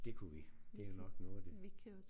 Det kunne vi det er jo nok noget af det